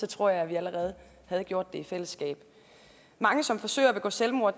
tror jeg at vi allerede havde gjort det i fællesskab mange som forsøger at begå selvmord